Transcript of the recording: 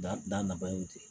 Da da na ba ye o ten